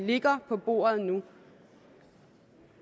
ligger på bordet nu